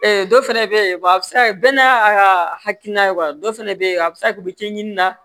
dɔ fɛnɛ bɛ yen a bɛ se ka kɛ bɛɛ n'a ka hakilina ye dɔ fɛnɛ bɛ yen a bɛ se ka kɛ u bɛ cɛ ɲini na